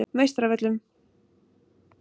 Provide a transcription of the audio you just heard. Meistaravöllum